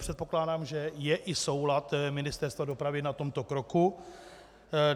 Předpokládám, že je i soulad Ministerstva dopravy na tomto kroku.